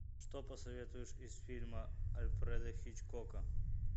что посоветуешь из фильма альфреда хичкока